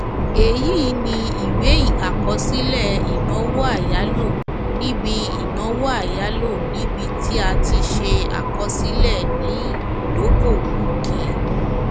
èyí ni iwe àkọsílẹ ìnáwó àyálò níbi ìnáwó àyálò níbi tí a ti ṣe àkọsílẹ ni ìdókòwò òkè